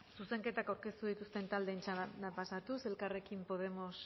zuzenketak aurkeztu dituzten taldeen txandara pasatuz elkarrekin podemos